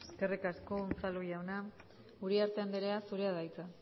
eskerrik asko unzalu jauna uriarte andrea zurea da hitza